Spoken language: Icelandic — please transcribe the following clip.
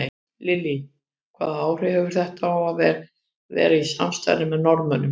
Lillý: Hvaða áhrif hefur þetta að vera í samstarfi með Norðmönnum?